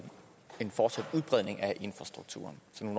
en fortsat udbredning af infrastrukturen så jeg